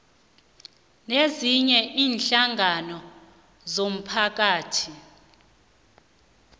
nezinye iinhlangano zomphakathi